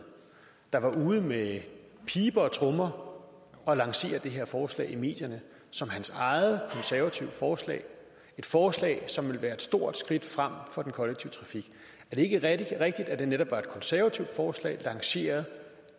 der var ude med piber og trommer og lancere det her forslag i medierne som sit eget konservative forslag et forslag som ville være et stort skridt frem for den kollektive trafik er det ikke rigtigt at det netop var et konservativt forslag lanceret